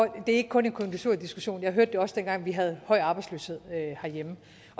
det er ikke kun en konjunkturdiskussion jeg hørte det også dengang vi havde høj arbejdsløshed herhjemme